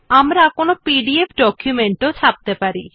আপনি PDF document টিও ছাপতে পারেন